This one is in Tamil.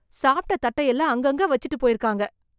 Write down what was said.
சாப்ட தட்டையெல்லாம் அங்க அங்க வச்சிட்டுப் போயிருக்காங்க